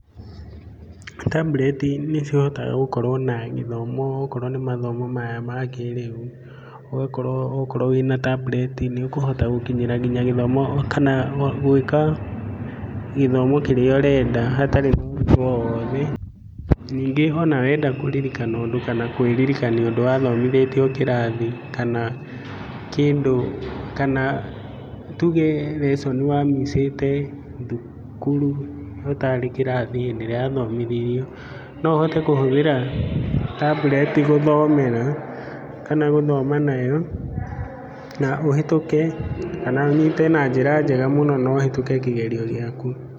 Tabureti nĩ cihotaga gũkorwo na ithomo okorwo nĩ mathomo maya ma kĩĩrĩu, okorwo wĩna tabureti nĩ ũkũhota gũkinyyĩra gĩthomo kana gwĩka gĩthomo kĩrĩa ũrenda hatarĩ mũhĩnga o wothe. Ningĩ wenda kũririkana ũndũ kana kwĩririkania ũndũ wa thomithĩtio kĩrathi, kana kĩndũ, kana tuge resoni wamicĩte thukuru, ũtari kĩrathi hĩndĩ ĩrĩa yathomithirio no ũhote kũhũthĩra tabureti gũthomera kana gũthoma nayo na ũhĩtũke, na ũnyite na njĩra njega mũno na ũhĩtũke kigerio gĩaku.